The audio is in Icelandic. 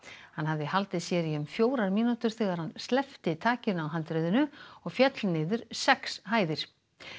hann hafði haldið sér í um fjórar mínútur þegar hann sleppti takinu á handriðinu og féll niður sex hæðir